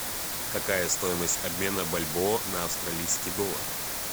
какая стоимость обмена бальбоа на австралийский доллар